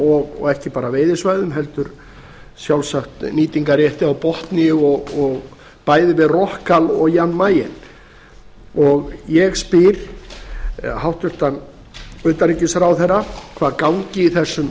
og ekki bara veiðisvæðum heldur sjálfsagt nýtingarrétti á botni bæði við rockall og jan mayen ég spyr hæstvirts utanríkisráðherra hvað gangi í þessum